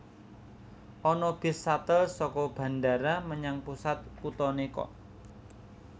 Ana bis shuttle soko bandara menyang pusat kutone kok